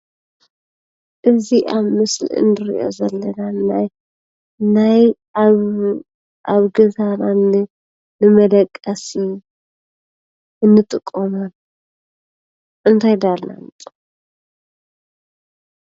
እዚ ኣብ ምስሊ እንሪኦ ዘለና ናይ ኣብ ገዛና ንመደቀሲ እንጥቀሞ እንታይ እንዳበልና ንፅውዖ?